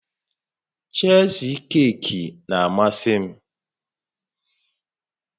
Chiizikeeki na-amasị m